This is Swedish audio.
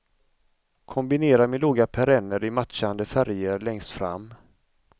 Kombinera med låga perenner i matchande färger längst fram.